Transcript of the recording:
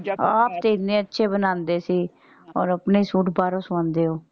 ਤੁਸੀਂ ਇੰਨੇ ਅੱਛੇ ਬਣਾਉਂਦੇ ਸੀ ਹੁਣ ਆਪਣੇ ਸੂਟ ਬਾਹਰੋਂ ਸਵਾਉਂਦੇ ਹੋ।